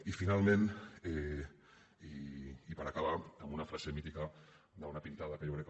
i finalment i per acabar una frase mítica d’una pintada que jo crec